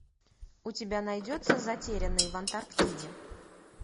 у тебя найдется затерянный в антарктиде